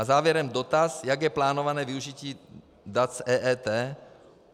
A závěrem dotaz, jak je plánované využití dat z EET.